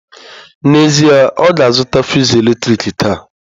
N'ezie, ọ ga-azụta fụsụ eletrik taa